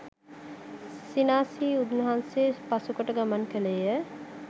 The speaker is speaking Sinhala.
සිනා සිසී උන්වහන්සේ පසුකොට ගමන් කළේය.